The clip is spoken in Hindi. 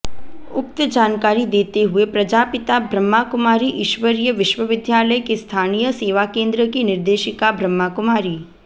उक्त जानकारी देते हुए प्रजापिता ब्रह्माकुमारी ईश्वरीय विश्वविद्यालय के स्थानीय सेवाकेन्द्र की निर्देशिका ब्रह्माकुमारी